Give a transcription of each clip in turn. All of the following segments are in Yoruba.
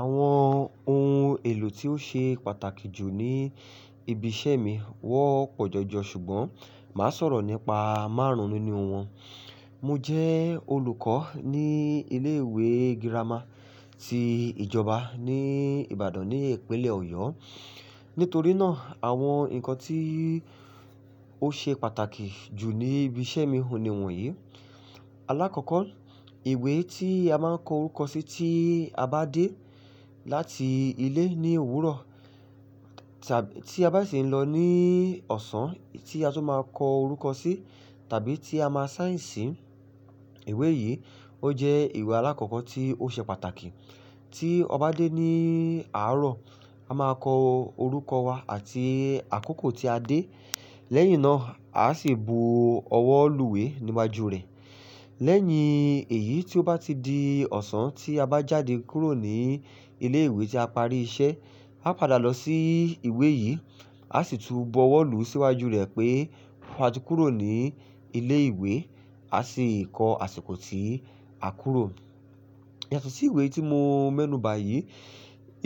Àwọn ohun èlò tí ó ṣe pàtàkì jù ní ibi iṣẹ́ mi wọ́pọ̀ jọjọ ṣùgbọ́n màá sọ̀rọ̀ nípa márùn-ún nínú wọn. Mo jẹ́ olùkọ́ ní ilé ìwé girama ti ìjọba ní Ìbàdàn ní ìpínlẹ̀ Ọ̀yọ́. Nítorí náà, àwọn ǹnkan tí ó ṣe pàtàkì jù ní ibi iṣẹ́ mi ohun nìwọ̀nyí. Alákọ̀ọ́kọ́, ìwé tí a máa ń kọ orúkọ sí tí a bá dé láti ilé ní òwúrọ̀, tí a bá sì ń lọ ní ọ̀sán tí a tún máa kọ orúkọ sí tàbí tí a máa sign si ìwé yìí, ó jẹ́ ìwé alákọ̀ọ́kọ́ tí ó ṣe pàtàkì. Tí ọba dé ní àárọ̀, a máa kọ orúkọ wa àti àkókò tí a dé. Lẹ́yìn náà, a sì bu ọwọ́ lù we níwájú rẹ̀. Lẹ́yìn èyí tí ó bá ti di ọ̀sán tí a bá jáde kúrò ní ilé ìwé tí a parí iṣẹ́, a padà lọ sí ìwé yìí, a sì tú bu ọwọ́ lù síwájú rẹ̀ pé a ti kúrò ní ilé ìwé, a sì kọ àsìkò tí a kúrò. Yàtọ̀ sí ìwé tí mo mẹ́nuba yìí,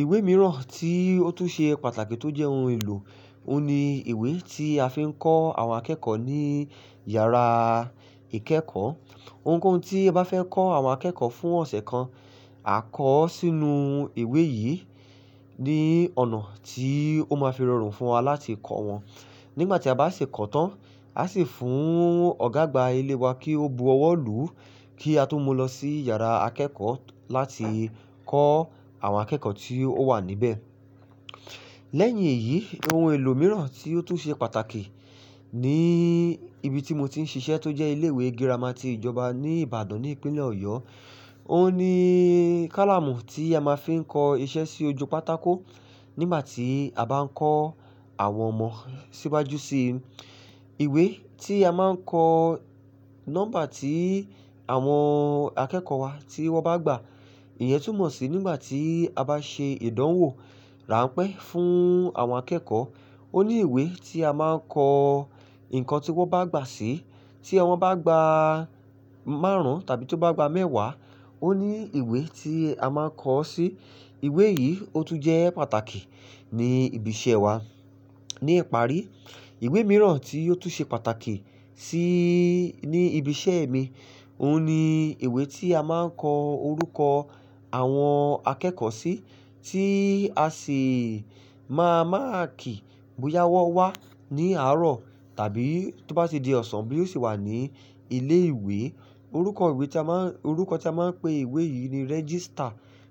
ìwé mìíràn tí ó tún ṣe pàtàkì tó jẹ́ ohun èlò, òhun ni ìwé tí a fi ń kọ àwọn akẹ́kọ̀ọ́ ní yàrá ìkẹ́kọ̀ọ́. Ohunkóhun tí ẹ bá fẹ́ kọ àwọn akẹ́kọ̀ọ́ fún ọ̀sẹ̀ kan, a kọ ọ́ sínú ìwé yìí ní ọ̀nà tí ó máa fi rọrùn fún wa láti kọ wọn. Nígbà tí a bá ṣi kọ́ ọ tán, a sì fún ọ̀gá àgbà ilé wa kí ó bu ọwọ́ lù ú kí a tó mú lọ sí yàrá akẹ́kọ̀ọ́ láti kọ àwọn akẹ́kọ̀ọ́ tí ó wà níbẹ̀. Lẹ́yìn èyí, ohun èlò mìíràn tí ó tún ṣe pàtàkì ní ibi tí mo ti ń ṣiṣẹ́ tó jẹ́ ilé ìwé girama ti ìjọba ní Ìbàdàn ní ìpínlẹ̀ Ọ̀yọ́, òhun ni kálàmù tí a máa fi ń kọ iṣẹ́ sí ojú pátákó nígbà tí a bá ń kọ àwọn ọmọ síwájú sí i. Ìwé tí a máa ń kọ nọ́mbà tí àwọn akẹ́kọ̀ọ́ wa tí wọ́n bá gbà. Ìyẹn tún mọ̀ sí nígbà tí a bá ṣe ìdánwò ráńpẹ́ fún àwọn akẹ́kọ̀ọ́. Ó ní ìwé tí a máa ń kọ ǹkan tí wọ́n bá gbà sí. Tí omo bá gba márùn-ún tàbí tó bá gba mẹ́wàá, ó ní ìwé tí a máa n kọ ọ́ sí. Ìwé yìí ó tún jẹ́ pàtàkì ní ibi iṣẹ́ wa. Ní ìparí, ìwé mìíràn tí ó tún ṣe pàtàkì síí, ní ibi iṣẹ́ mi, òhun ni ìwé tí a máa ń kọ orúkọ àwọn akẹ́kọ̀ọ́ sí tí a sì máa mark bóyá wọ́n wá ní àárọ̀ tàbí tó bá ti di ọ̀sán boya ó ṣi wà ní ilé ìwé. Orúkọ ìwé tí a máa ń, orúkọ tí a máa ń pe ìwé yìí ni register.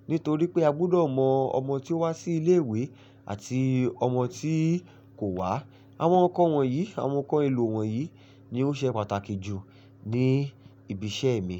Nítorí pé a gbúdọ̀ mọ ọmọ tí ó wá sí ilé ìwé àti ọmọ tí kò wá. Àwọn ǹkan wọ̀nyí, àwọn ǹkan èlò wọ̀nyí ni ó ṣe pàtàkì jù ní ibi iṣẹ́ mi.